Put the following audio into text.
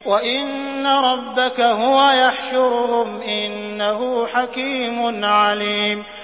وَإِنَّ رَبَّكَ هُوَ يَحْشُرُهُمْ ۚ إِنَّهُ حَكِيمٌ عَلِيمٌ